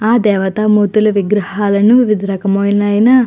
ఆ దేవత మూర్తులు విగ్రహాలను వివిధ రకములైన --